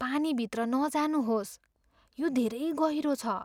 पानीभित्र नजानुहोस्। यो धेरै गहिरो छ!